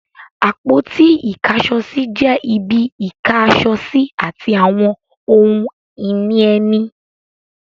Àpótí Ìkáṣọsí jẹ́ ibi Ìká aṣọ sí àti àwọn ohun ìní ẹni